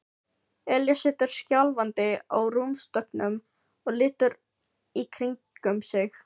Elías situr skjálfandi á rúmstokknum og lítur í kringum sig.